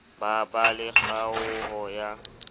ba ba le kgaoho ya